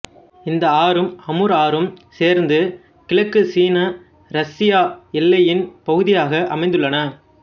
இந்த ஆறும் அமுர் ஆறும் சேர்ந்து கிழக்கு சீனா இரசியா எல்லையின் பகுதியாக அமைந்துள்ளன